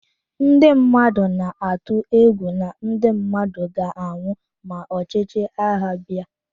Ndị mmadụ na-atụ egwu na ndị mmadụ ga-anwụ ma ọchịchị agha abịa.